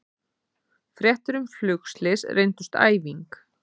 Fréttir um flugslys reyndust æfing